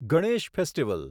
Ganesh festival